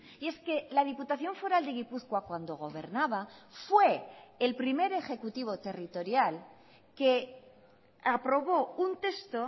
y es que la diputación foral de gipuzkoa cuando gobernaba fue el primer ejecutivo territorial que aprobó un texto